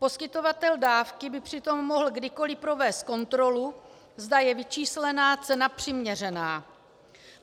Poskytovatel dávky by přitom mohl kdykoli provést kontrolu, zda je vyčíslená cena přiměřená.